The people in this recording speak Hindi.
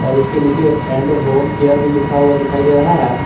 और इसके नीचे एंड होम केयर भी लिखा हुआ दिखाई दे रहा है।